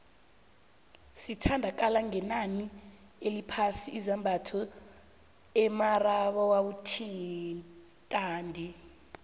zithda kala ngenani eliphasi izambatho emarabaotadi